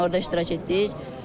Orda iştirak etdik.